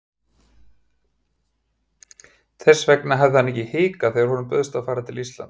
Þess vegna hafði hann ekki hikað þegar honum bauðst að fara til Íslands.